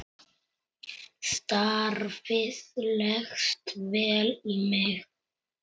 Starfið leggst vel í mig.